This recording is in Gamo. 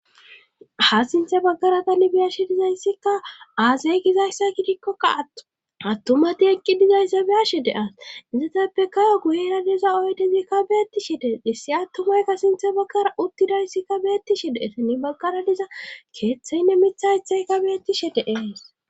ha sinthe baggara ta ni biyashe dizayssikka aazay gizayssa gidikkokka attumati eqqi dizayssa biyashe de7as isetappe kayo guhe nadeza oydezikka beettishe dee hissi attumaykka sinthe baggara uttidayssikka beettishe de7ete ni baggara diza keeththeynne mithaythaykka beettishe deees